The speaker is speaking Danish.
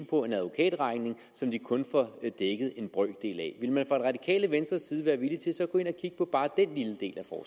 på en advokatregning som de kun får dækket en brøkdel af ville man fra det radikale venstres side være villig til så at gå ind og kigge på bare den lille